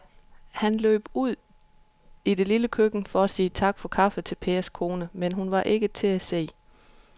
Han løb ud i det lille køkken for at sige tak for kaffe til Pers kone, men hun var ikke til at se.